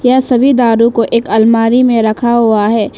यहा सभी दारु को एक अलमारी में रखा हुआ है।